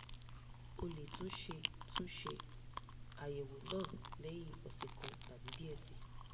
o le tun ṣe tun ṣe ayẹwo naa lẹhin ọsẹ kan tabi diẹ sii